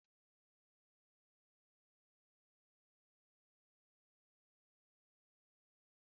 Azụ ọkpọr na-ewu ewu maka eji sie nri na ébé ana esi nri na Naịjirịa